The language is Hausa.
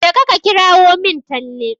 Jeka ka kirawo min Talle.